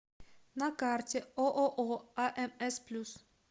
на карте ооо амс плюс